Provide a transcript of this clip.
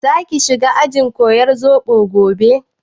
Za ki shiga ajin koyar zobo gobe?